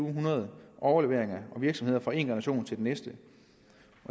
hundrede overleveringer af virksomheder fra én generation til den næste